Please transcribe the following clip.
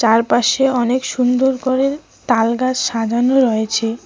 চারপাশে অনেক সুন্দর করে তালগাছ সাজানো রয়েছে।